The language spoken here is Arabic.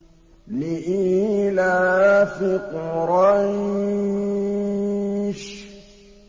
لِإِيلَافِ قُرَيْشٍ